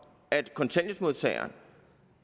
at kontanthjælpsmodtagere